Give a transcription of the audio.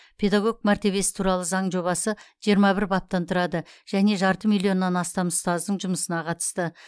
педагог мәртебесі туралы заң жобасы жиырма бір баптан тұрады және жарты миллионнан астам ұстаздың жұмысына қатысты